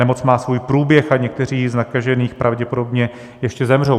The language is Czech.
Nemoc má svůj průběh a někteří z nakažených pravděpodobně ještě zemřou.